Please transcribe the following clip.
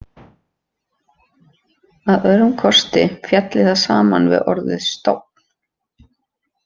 Að öðrum kosti félli það saman við orðið stofn.